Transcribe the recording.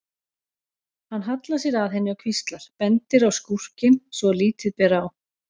Hann hallar sér að henni og hvíslar, bendir á skúrkinn svo að lítið ber á.